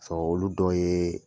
Sɔrɔ olu dɔ ye